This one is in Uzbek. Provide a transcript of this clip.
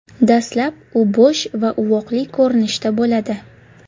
Dastlab u bo‘sh va uvoqli ko‘rinishda bo‘ladi.